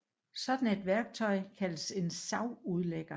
Sådan et værktøj kaldes en savudlægger